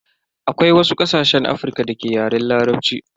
Akwai wasu ƙasashen Afrika da ke Yaren Larabci.